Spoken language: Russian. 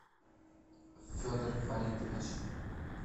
федор фаритович